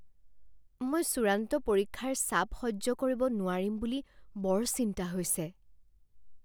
মই চূড়ান্ত পৰীক্ষাৰ চাপ সহ্য কৰিব নোৱাৰিম বুলি বৰ চিন্তা হৈছে।